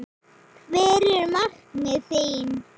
Hver eru markmið þín?